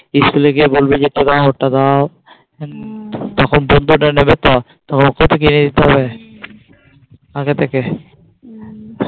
School গিয়ে বলবে যে তোমরা